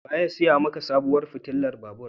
Wa ya sai maka sabuwar fitilar babur?